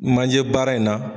Manjɛ baara in na.